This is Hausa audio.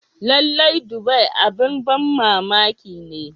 Lallai, Dubai abin ban mamaki ne.